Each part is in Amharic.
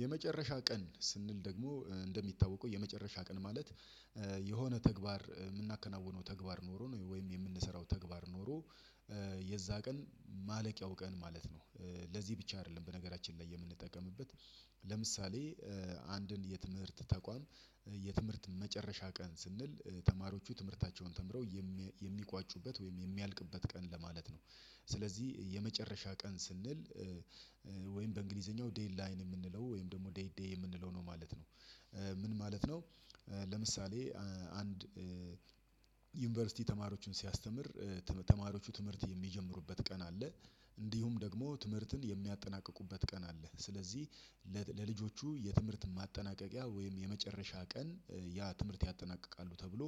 የመጨረሻ ቀን ስንል ደግሞ እንደሚታወቀው የመጨረሻ ቀን ማለት የሆነ ተግባር ምናከናውነው ተግባር ኖሮ ነው ወይም የምንሰራው ተግባር ኖሮ የዛ ቀን ማለቂያው ቀን ማለት ነው። ለዚህ ብቻ አይደለም በነገራችን ላይ የምንጠቀምበት ለምሳሌ አንድን የትምህርት ተቋም የትምህርት መጨረሻ ቀን ስንል ተማሪዎቹ ትምህርታቸውን ተምረው የሚቋጩበት ወይም የሚያልቅበት ቀን ለማለት ነው። ስለዚህ የመጨረሻ ቀን ስንል ወይም በእንግሊዘኛው ዴድ ላይን የምንለው ወይም ደግሞ ዴይ ዴይ የምንለው ነው ማለት ነው። ምን ማለት ነው። ለምሳሌ አንድ ዩንቨርሲቲ ተማሪዎችን ሲያስተምር ተማሪዎቹ ትምህርት የሚጀምሩበት ቀን አለ። እንዲሁም ደግሞ ትምህርትን የሚያጠናቅቁበት ቀን አለ ስለዚህ። ለልጆቹ የትምህርት ማጠናቀቂያ ወይም የመጨረሻ ቀን ያ ትምህርት ያጠናቅቃሉ ተብሎ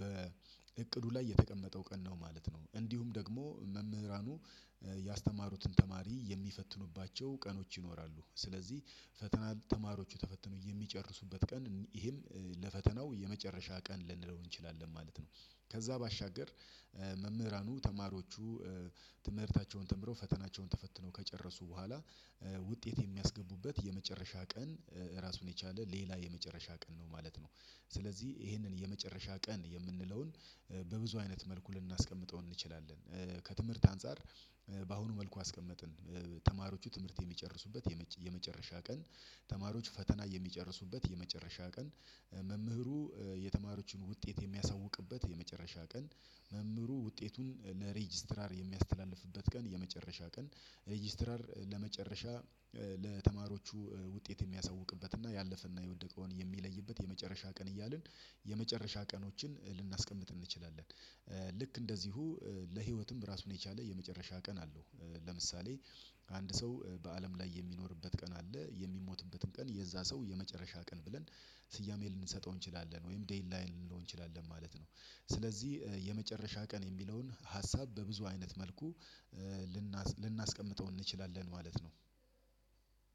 በእቅዱ ላይ የተቀመጠው ቀን ነው ማለት ነው። እንዲሁም ደግሞ መምህራኑ ያስተማሩትን ተማሪ የሚፈትኑባቸው ቀኖች ይኖራሉ። ስለዚህ ፈተና ተማሪዎች ተፈትኖ የሚጨርሱበት ቀን ይሄም ለፈተናው የመጨረሻ ቀን ልንለው እንችላለን ማለት ነው። ከዛ ባሻገር መምህራኑ ተማሪዎቹ ትምህርታቸውን ተምረው ፈተናቸውን ተፈትነው ከጨረሱ በኋላ ውጤት የሚያስገቡበት የመጨረሻ ቀን ራሱን የቻለ ሌላ የመጨረሻ ቀን ነው ማለት ነው። ስለዚህ ይሄንን የመጨረሻ ቀን የምንለውን በብዙ አይነት መልኩ ልናስቀምጠው እንችላለን። ከትምህርት አንፃር በአሁኑ መልኩ አስቀመጥን። ተማሪዎቹ ትምህርት የሚጨርሱበት የመጨረሻ ቀን ተማሪዎች ፈተና የሚጨርሱበት የመጨረሻ ቀን መምህሩ የተማሪዎቹን ውጤት የሚያሳውቅበት የመጨረሻ ቀን መምህሩ ውጤቱን ለሬጅስትራር የሚያስተላልፍበት ቀን የመጨረሻ ቀን ሬጅስትራር ለመጨረሻ ለተማሪዎቹ ውጤት ሚያሳውቅበት እና ያለፈና የወደቀውን የሚለይበት የመጨረሻ ቀን እያልን የመጨረሻ ቀኖችን ልናስቀምጥ እንችላለን። ልክ እንደዚሁ ለህይወትም ራሱን የቻለ የመጨረሻ ቀን አለው። ለምሳሌ አንድ ሰው በአለም ላይ የሚኖርበት ቀን አለ የሚሞትበትን ቀን የዛ ሰው የመጨረሻ ቀን ብለን ስያሜ ልንሰጠው እንችላለን ወይም ዴይን ላይን ልንለው እንችላለን ማለት ነው። ስለዚህ የመጨረሻ ቀን የሚለውን ሀሳብ በብዙ አይነት መልኩ ልናስቀምጠው እንችላለን ማለት ነው።